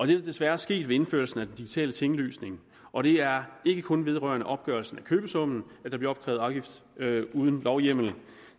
det er desværre sket ved indførelsen af den digitale tinglysning og det er ikke kun vedrørende opgørelsen af købesummen at der bliver opkrævet afgift uden lovhjemmel